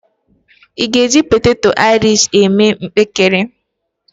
Ị́ ga-eji poteto airish eme mpekere?